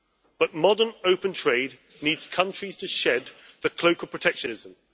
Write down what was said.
But modern open trade needs countries to shed the cloak of protectionism.